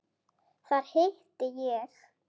Þar hitti ég